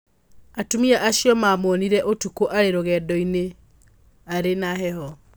Atumia acio maamuonire ũtukũ arĩ rũgendo-inĩ arĩ na heho.